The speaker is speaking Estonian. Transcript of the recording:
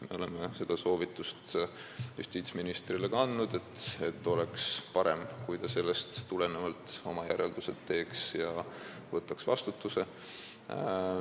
Me oleme justiitsministrile andnud ka soovituse, et oleks parem, kui ta teeks sellest oma järeldused ja võtaks vastutuse.